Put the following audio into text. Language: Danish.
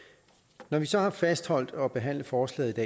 når vi så alligevel har fastholdt at behandle forslaget i